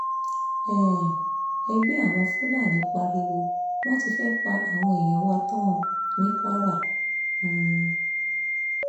um ẹgbẹ́ àwọn fúlàní pariwo wọ́n ti fẹ́ẹ̀ pa àwọn èèyàn wa tán ní kwara o um